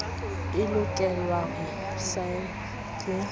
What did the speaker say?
e lokelwa ho saenwa ke